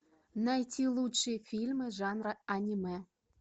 найти лучшие фильмы жанра аниме